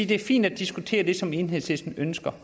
det er fint at diskutere det som enhedslisten ønsker